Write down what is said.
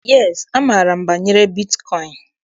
Yes, amaara m banyere bitkọịn.